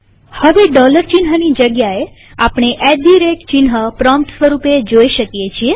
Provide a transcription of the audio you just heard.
હવે ડોલર ચિહ્નની જગ્યાએ આપણે એટ ધી રેટ ચિહ્ન પ્રોમ્પ્ટ સ્વરૂપે જોઈ શકીએ છીએ